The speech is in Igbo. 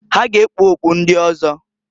Ha ga ekpu okpu ndi ọzọ.